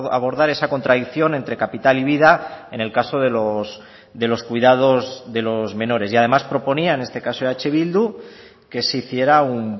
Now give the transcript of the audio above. abordar esa contradicción entre capital y vida en el caso de los cuidados de los menores y además proponía en este caso eh bildu que se hiciera un